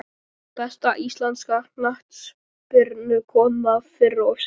Besta íslenska knattspyrnukonan fyrr og síðar?